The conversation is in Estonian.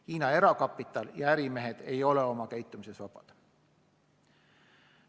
Hiina erakapital ja ärimehed ei ole oma käitumises vabad.